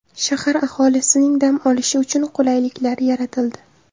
Shahar aholisining dam olishi uchun qulayliklar yaratildi.